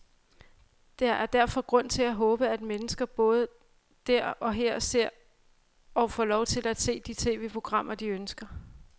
Der er derfor grund til at håbe, at mennesker både der og her ser, og får lov til at se, de tv-programmer, de ønsker.